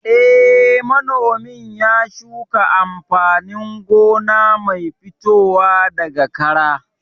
Eh, manomin ya shuka amfanin gona mai fitowa daga kara